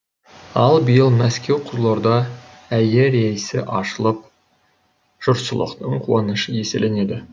ал биыл мәскеу қызылорда әйе рейсі ашылып жұртшылықтың қуанышы еселенді